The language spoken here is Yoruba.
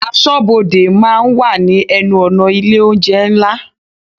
Aṣọ́bodè máa ń wà ní ẹnu-ọ̀nà ilé oúnjẹ ńlá.